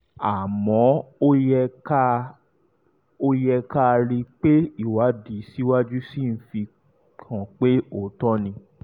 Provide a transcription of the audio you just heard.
àmọ́ ó yẹ ká ó yẹ ká rí i pé ìwádìí síwájú sí i fi hàn pé òótọ́ ni